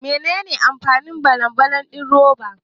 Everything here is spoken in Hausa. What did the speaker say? Menene amfanin balan balan din roba?